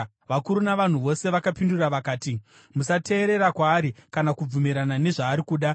Vakuru navanhu, vose vakapindura vakati, “Musateerera kwaari kana kubvumirana nezvaari kuda.”